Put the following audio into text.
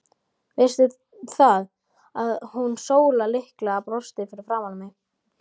Veistu það, að hún Sóla litla brosti framan í mig.